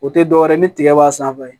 O tɛ dɔwɛrɛ ye ni tigɛ b'a sanfɛ